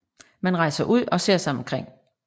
Man rejser ud og ser sig omkring